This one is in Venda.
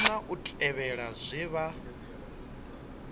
kona u tevhela zwe vha